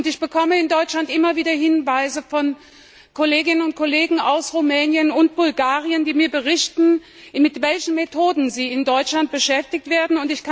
Ich bekomme in Deutschland immer wieder Hinweise von Kolleginnen und Kollegen aus Rumänien und Bulgarien, die mir berichten, mit welchen Methoden sie in Deutschland beschäftigt werden.